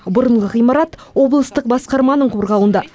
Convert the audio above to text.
бұрынғы ғимарат облыстық басқарманың қорғауында